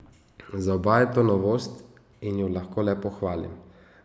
Za oba je to novost in ju lahko le pohvalim.